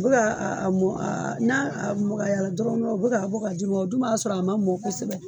U bɛ ka mɔn n'a magaya la dɔrɔn u bɛ ka bɔ k'a ji bɔ o dun b'a sɔrɔ a man mɔn kosɛbɛ.